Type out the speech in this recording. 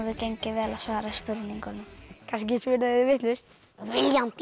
gengið vel að svara spurningunum kannski svöruðu þau vitlaust viljandi